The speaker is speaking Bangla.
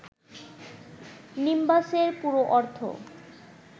নিম্বাসের পুরো অর্থ